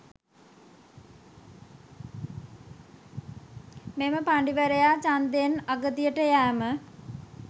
මෙම පඬිවරයා ඡන්දයෙන් අගතියට යෑම